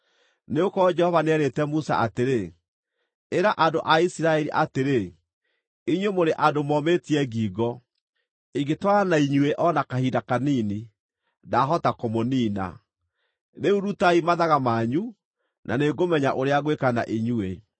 Nĩgũkorwo Jehova nĩeerĩte Musa atĩrĩ, “Ĩra andũ a Isiraeli atĩrĩ, ‘Inyuĩ mũrĩ andũ momĩtie ngingo. Ingĩtwarana na inyuĩ o na kahinda kanini, ndahota kũmũniina. Rĩu rutai mathaga manyu, na nĩngũmenya ũrĩa ngwĩka na inyuĩ.’ ”